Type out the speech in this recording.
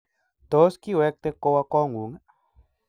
Tos, kiwekte kowa kongung?